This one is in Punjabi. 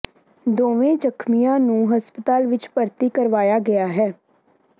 ਦੋਵੇਂ ਜ਼ਖ਼ਮੀਆਂ ਨੂੰ ਹਸਪਤਾਲ ਵਿੱਚ ਭਰਤੀ ਕਰਵਾਇਆ ਗਿਆ ਹੈ